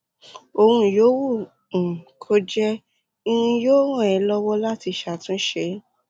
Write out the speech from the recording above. ohun yòówù um kó jẹ́ irin yóò ràn ẹ́ lọ́wọ́ láti ṣàtúnṣe